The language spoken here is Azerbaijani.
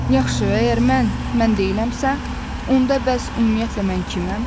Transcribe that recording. Yaxşı, əgər mən mən deyiləmsə, onda bəs ümumiyyətlə mən kiməm?